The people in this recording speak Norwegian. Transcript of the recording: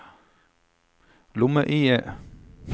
lomme-IE